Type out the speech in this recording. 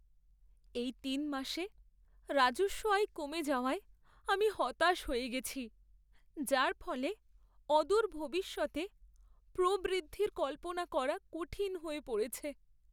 এই তিন মাসে রাজস্ব আয় কমে যাওয়ায় আমি হতাশ হয়ে গেছি, যার ফলে অদূর ভবিষ্যতে প্রবৃদ্ধির কল্পনা করা কঠিন হয়ে পড়েছে।